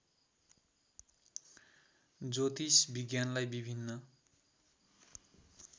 ज्योतिष विज्ञानलाई विभिन्न